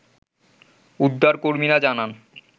উদ্ধার কর্মীরা জানান